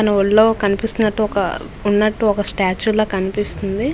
తన ఒళ్ళో కనిపిస్తునట్టు ఒక ఉన్నట్టు ఒక స్టాట్యూ లా కనిపిస్తుంది.